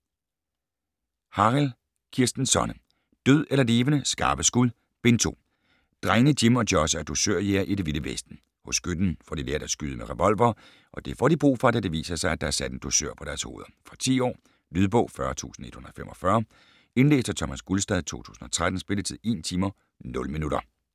Harild, Kirsten Sonne: Død eller levende!: Skarpe skud: Bind 2 Drengene Jim og Josh er dusørjægere i det vilde vesten. Hos Skytten får de lært at skyde med revolvere, og det får de brug for da det viser sig at der er sat en dusør på deres hoveder. Fra 10 år. Lydbog 40145 Indlæst af Thomas Gulstad, 2013. Spilletid: 1 timer, 0 minutter.